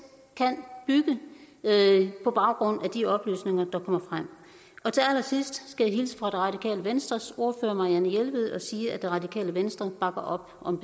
kan bygge på baggrund af de oplysninger der kommer frem til allersidst skal jeg hilse fra radikale venstres ordfører fru marianne jelved og sige at radikale venstre bakker op om